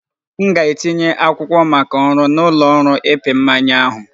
M ga-etinye akwụkwọ maka ọrụ na ụlọ ọrụ ịpị mmanya ahụ